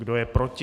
Kdo je proti?